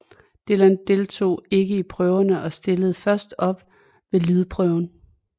Dylan deltog ikke i prøverne og stillede først op ved lydprøven